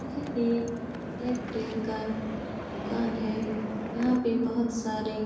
यह एक एयरटेल का दुकान है। यहाँ पे बहोत सारे --